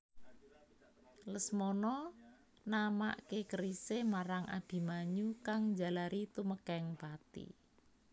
Lesmana namaké kerisé marang Abimanyu kang njalari tumekèng pati